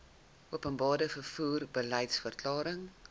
openbare vervoer beliedsverklaring